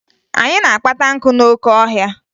Anyị na-akpata nkụ n'oke ọhịa